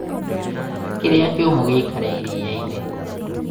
kĩrĩa kĩũmũ gĩĩkare iria iinĩ